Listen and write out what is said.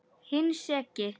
Hinn seki.